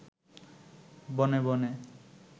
বনে বনে